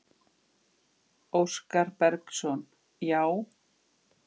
Óskar Bergsson: Já.